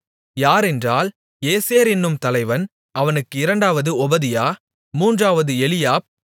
யாரென்றால் ஏசேர் என்னும் தலைவன் அவனுக்கு இரண்டாவது ஒபதியா மூன்றாவது எலியாப்